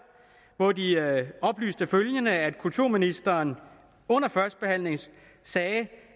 hvor de oplyste følgende nemlig at kulturministeren under førstebehandlingen sagde